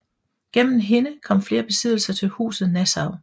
Gennem hende kom flere besiddelser til huset Nassau